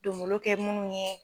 Don nbolo kɛ munnu ye